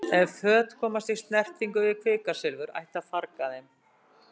Ef föt komast í snertingu við kvikasilfur ætti að farga þeim.